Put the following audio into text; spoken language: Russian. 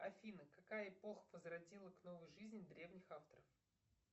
афина какая эпоха возродила к новой жизни древних авторов